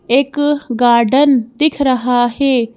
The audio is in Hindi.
एक गार्डन दिख रहा है।